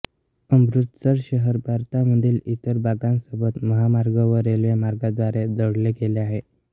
अमृतसर शहर भारतामधील इतर भागांसोबत महामार्ग व रेल्वेमार्गांद्वारे जोडले गेले आहे